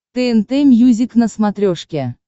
тнт мьюзик на смотрешке